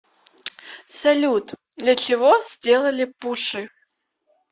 салют для чего сделали пуши